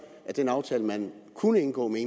af den aftale man kunne indgå med